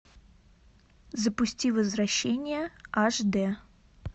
запусти возвращение аш д